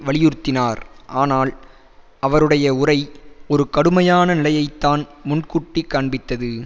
வலியுறுத்தினார் ஆனால் அவருடைய உரை ஒரு கடுமையான நிலையை தான் முன்கூட்டிக் காண்பித்தது